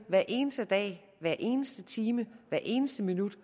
hver eneste dag hver eneste time hver eneste minut